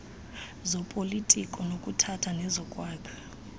zopolitiko zokuphatha nezokwakha